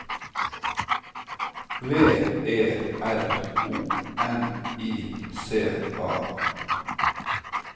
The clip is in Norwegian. V E R O N I C A